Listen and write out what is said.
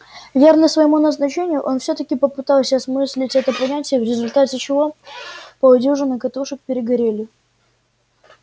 верный своему назначению он всё-таки попытался осмыслить это понятие в результате чего полдюжины катушек перегорели